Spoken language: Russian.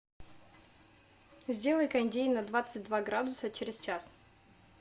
сделай кондей на двадцать два градуса через час